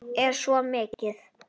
Er svo komið?